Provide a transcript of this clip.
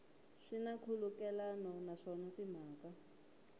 swi na nkhulukelano naswona timhaka